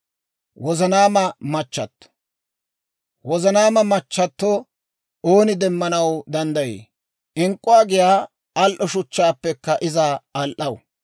Wozanaama machchato ooni demmanaw danddayii? Ink'k'uwaa giyaa al"o shuchchaappekka iza al"aw.